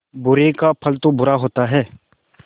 बुरे का फल बुरा होता है